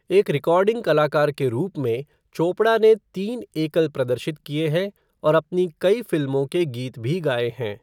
एक रिकॉर्डिंग कलाकार के रूप में, चोपड़ा ने तीन एकल प्रदर्शित किए हैं और अपनी कई फिल्मओं के गीत भी गाएं है।